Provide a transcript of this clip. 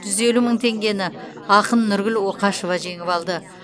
жүз елу мың теңгені ақын нұргүл оқашева жеңіп алды